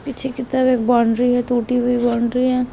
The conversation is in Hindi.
पीछे की तरफ बाउंड्री है टूटी हुई बाउंड्री है।